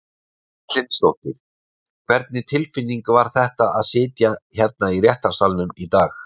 Erla Hlynsdóttir: Hvernig tilfinning var þetta að sitja hérna í réttarsalnum í dag?